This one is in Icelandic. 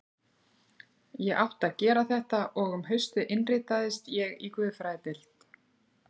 Ég átti að gera þetta og um haustið innritaðist ég í guðfræðideild